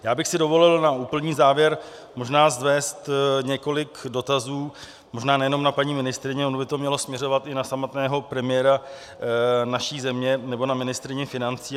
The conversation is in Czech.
Já bych si dovolil na úplný závěr možná vznést několik dotazů, možná nejenom na paní ministryni, ono by to mělo směřovat i na samotného premiéra naší země nebo na ministryni financí.